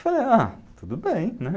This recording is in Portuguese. Falei, ah, tudo bem, né?